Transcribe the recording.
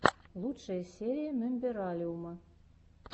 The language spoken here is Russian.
лучшая серия мембералиума